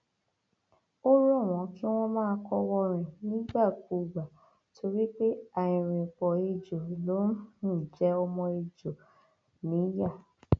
ó rọ wọn kí wọn máa kọwọọrìn nígbàkúùgbà torí pé àìrìnpọ ẹjọ ló um ń jẹ ọmọ ẹjọ um níyà